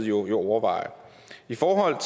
jo overveje i forhold